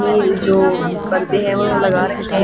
ये जो पर्दे हैं वो लगा रखे हैं।